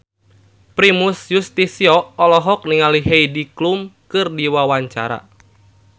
Primus Yustisio olohok ningali Heidi Klum keur diwawancara